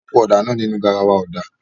A po ọ̀dà náà nínú garawa ọ̀dà.